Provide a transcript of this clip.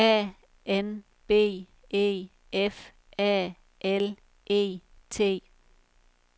A N B E F A L E T